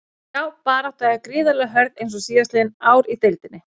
Já baráttan er gríðarlega hörð eins og síðastliðin ár í deildinni.